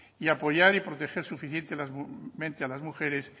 y apoyar y proteger suficientemente a las mujeres